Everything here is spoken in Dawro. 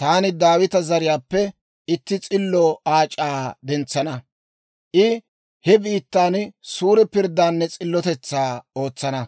taani Daawita zariyaappe itti s'illo Aac'aa dentsana; I he biittan suure pirddaanne s'illotetsaa ootsana.